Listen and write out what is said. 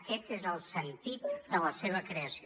aquest és el sentit de la seva creació